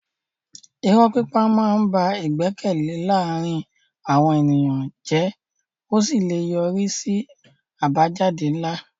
Irọ́ pípa máa ń ba ìgbẹ́kẹ̀lé láàárín àwọn ènìyàn jẹ́ ó sì lè yọrí sí àbájáde ńlá.